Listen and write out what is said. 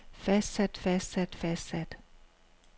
fastsat fastsat fastsat